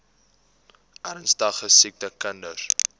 ernstige siek kinders